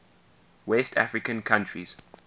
west african countries